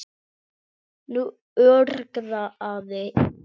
Nú urgaði í henni.